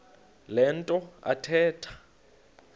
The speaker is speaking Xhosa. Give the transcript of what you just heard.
le nto athetha